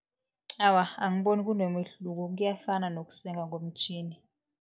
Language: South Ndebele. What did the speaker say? Awa, angiboni kunomehluko kuyafana nokusenga ngomtjhini.